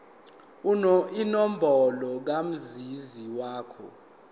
inombolo kamazisi wakho